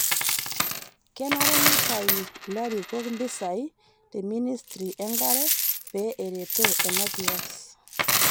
Kenare neitayun ilarikok mpisai te ministri enkare pee eretoo ena kias